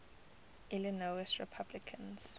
illinois republicans